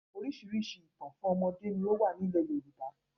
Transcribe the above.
Oríṣiríṣi ìtàn fún ọmọdé ni ó wà ní ilẹ̀ Yorùbá